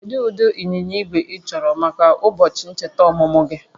Kedu ụdị ịnyịnya igwe ịchọrọ maka ụbọchị ncheta ọmụmụ gị?